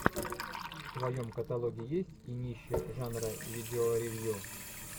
в твоем каталоге есть кинище жанра видеоревью